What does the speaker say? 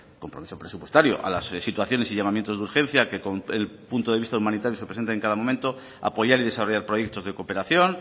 compromiso presupuestario a las situaciones y llamamiento de urgencia que con el punto de vista humanitario se presentan en cada momento apoyar y desarrollar proyectos de cooperación